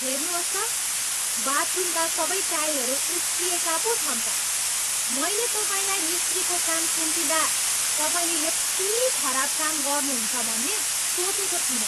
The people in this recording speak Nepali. हेर्नुहोस् त, बाथरूमका सबै टाइलहरू उप्किएका पो छन् त ! मैले तपाईँलाई मिस्त्रीको काम सुम्पिँदा तपाईँले यति खराब काम गर्नुहुन्छ भन्ने सोचेको थिइनँ।